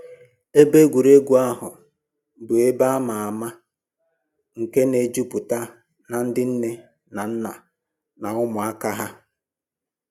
Ebe egwuregwu ahụ bụ ebe a ma ama nke na-ejupụta na ndị nne na nna na ụmụaka ha